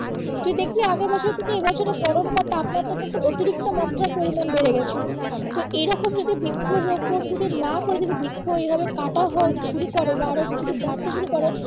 তুই দেখলি আগের বছরের থেকে এই বছরের গরম বা তাপমাত্রা কিন্তু অতিরিক্ত মাত্রায় পরিমান বেড়ে গেছিলো, তো এইরকম যদি বৃক্ষ রোপন যদি না করে যদি বৃক্ষ এইভাবে কাঁটা হয় শুরু করে বা আরো যদি বাড়তে শুরু করে